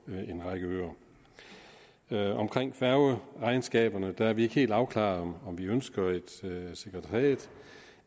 en række øer øer omkring færgeregnskaberne er vi ikke helt afklaret om vi ønsker et sekretariat